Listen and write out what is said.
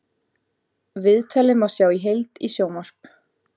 Viðtalið má sjá í heild í sjónvarp